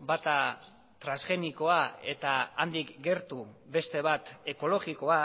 bata transgenikoa eta handik gertu beste bat ekologikoa